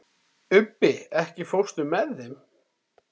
Ubbi, ekki fórstu með þeim?